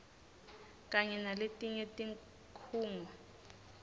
kanye naletinye tikhungo